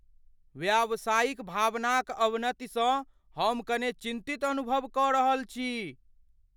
व्यावसायिक भावना क अवनति सँ हम कनि चिन्तित अनुभव क रहल छी।